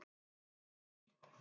Harry